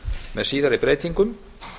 með síðari breytingum